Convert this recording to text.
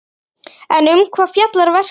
En um hvað fjallar verkið?